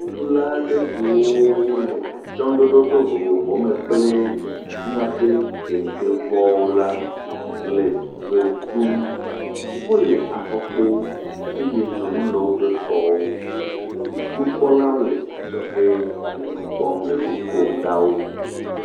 Ʋeɖula aɖe siwo le atsyɔ̃ɖoɖo vovovowo me kple míaƒe kentevɔwo la le ʋe ɖum. Wole afɔkpo, eye dzonu le woƒe kɔwo. Nukpɔlawo le adzɔge le nu kpɔm le nu kom na wo.